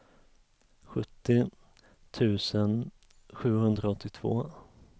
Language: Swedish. sjuttio tusen sjuhundraåttiotvå